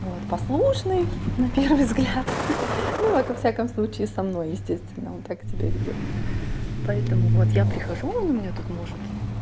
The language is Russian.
вот послушный на первый взгляд ну вот во всяком случае со мной естественно он так себя ведёт поэтому вот я прихожу он меня тут может